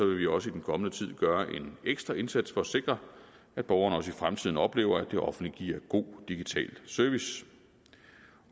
vi også i den kommende tid gøre en ekstra indsats for at sikre at borgerne også i fremtiden oplever at det offentlige giver god digital service